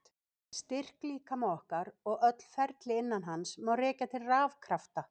Styrk líkama okkar og öll ferli innan hans má rekja til rafkrafta.